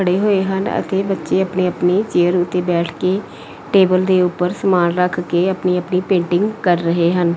ਹੋਏ ਹਨ ਅਤੇ ਬੱਚੇ ਆਪਣੀ ਆਪਣੀ ਚੇਅਰ ਉੱਤੇ ਬੈਠ ਕੇ ਟੇਬਲ ਦੇ ਉੱਪਰ ਸਮਾਨ ਰੱਖ ਕੇ ਆਪਣੀ ਆਪਣੀ ਪੇਂਟਿੰਗ ਕਰ ਰਹੇ ਹਨ।